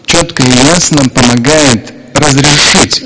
чётко и ясно помогает разрешить